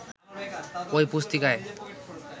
ওই পুস্তিকায়